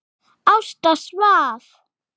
Ásta svaf.